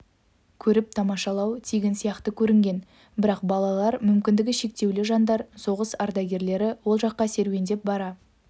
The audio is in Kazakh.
көріп-тамашалау тегін сияқты көрінген бірақ балалар мүмкіндігі шектеулі жандар соғыс ардагерлері ол жаққа серуендеп бара